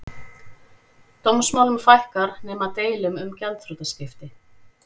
Dómsmálum fækkar nema deilum um gjaldþrotaskipti